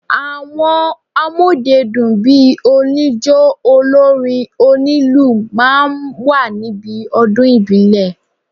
Àwọn amọ́dedún bíi oníjó, olórin, onílù máa ń wà níbi ọdún ìbílẹ̀.